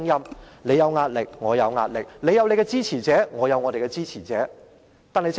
正所謂"你有壓力，我也有壓力"，你有你的支持者，我也有我的支持者。